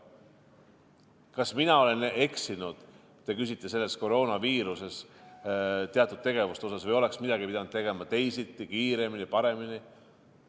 Kas mina olen eksinud, te küsite, selle koroonaviirusega seotud teatud tegevuste suhtes, või oleks midagi pidanud tegema teisiti, kiiremini, paremini?